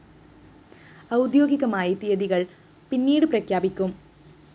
ഔദ്യോഗികമായി തീയതികള്‍ പിന്നീട് പ്രഖ്യാപിക്കും